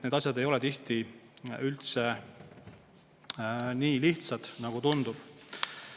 Need asjad ei ole tihti üldse nii lihtsad, nagu tundub.